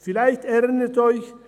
Vielleicht erinnern Sie sich: